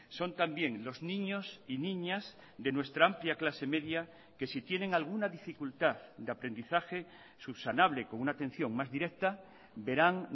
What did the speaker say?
son también los niños y niñas de nuestra amplia clase media que si tienen alguna dificultad de aprendizaje subsanable con una atención más directa verán